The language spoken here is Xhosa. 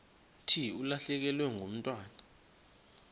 thi ulahlekelwe ngumntwana